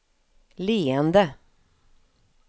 leende